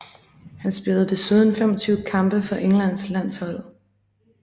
Han spillede desuden 25 kampe for Englands landshold